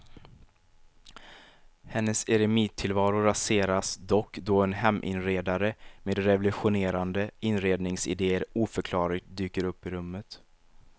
Hennes eremittillvaro raseras dock då en heminredare med revolutionerande inredningsidéer oförklarligt dyker upp i rummet.